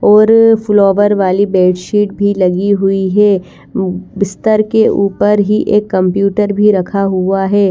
और फ्लोवर वाली bed sheet भी लगी हुई है उम बिस्तर के ऊपर ही एक कंप्युटर भी रखा हुआ है।